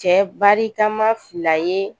Cɛ barikama fila ye